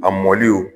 A mɔliw